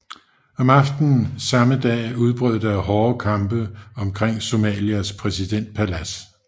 Om aftenen samme dag udbrød der hårde kampe omkring Somalias præsidentpalads